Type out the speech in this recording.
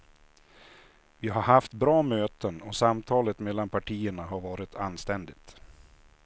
Vi har haft bra möten och samtalet mellan partierna har varit anständigt.